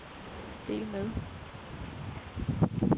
del med